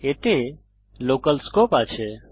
এতে local scope আছে